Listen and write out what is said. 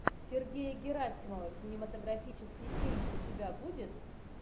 сергея герасимова кинематографический фильм у тебя будет